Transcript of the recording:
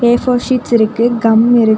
ஏ four sheets இருக்கு gum இருக்கு.